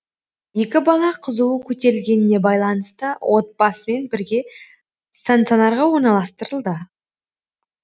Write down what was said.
екі бала қызуы көтерілгеніне байланысты отбасымен бірге станционарға орналастырылды